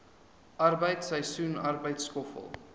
arbeid seisoensarbeid skoffel